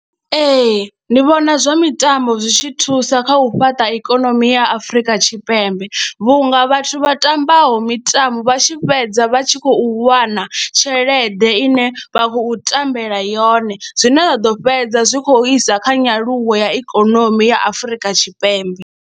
Ee, ndi vhona zwa mitambo zwi tshi thusa kha u fhaṱa ikonomi ya Afrika Tshipembe vhunga vhathu vha tambaho mitambo vha tshi fhedza vha tshi khou wana tshelede ine vha khou tambela yone zwine zwa ḓo fhedza zwi khou isa kha nyaluwo ya ikonomi ya Afrika Tshipembe.